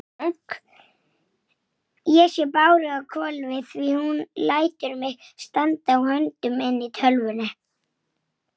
Og þú veist það líka.